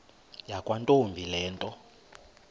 yakwantombi le nto